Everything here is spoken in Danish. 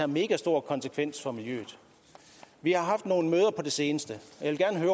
megastor konsekvens for miljøet vi har haft nogle møder på det seneste